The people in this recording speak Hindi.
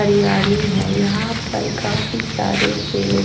हरयाली है यहाँ पर काफी सारे पेड़--